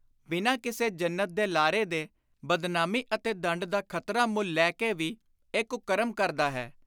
ਬਿਨਾਂ ਕਿਸੇ ਜੰਨਤ ਦੇ ਲਾਰੇ ਦੇ, ਬਦਨਾਮੀ ਅਤੇ ਦੰਡ ਦਾ ਖ਼ਤਰਾ ਮੁੱਲ ਲੈ ਕੇ ਵੀ ਇਹ ਕੁਕਰਮ ਕਰਦਾ ਹੈ